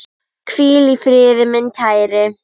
Hvíl í friði, minn kæri.